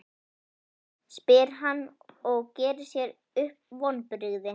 spyr hann og gerir sér upp vonbrigði.